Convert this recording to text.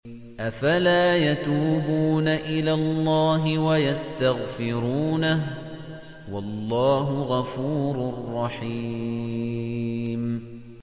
أَفَلَا يَتُوبُونَ إِلَى اللَّهِ وَيَسْتَغْفِرُونَهُ ۚ وَاللَّهُ غَفُورٌ رَّحِيمٌ